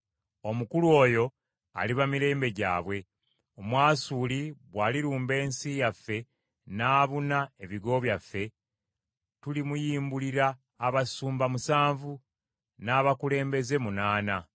Omukulu oyo aliba mirembe gyabwe. Omwasuli bw’alirumba ensi yaffe n’abuna ebigo byaffe, tulimuyimbulira abasumba musanvu, n’abakulembeze munaana.